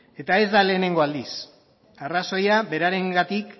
eta ez da lehenengo aldiz arrazoia berarengatik